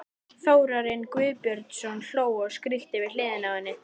Þórarinn Guðbjörnsson hló og skríkti við hliðina á henni.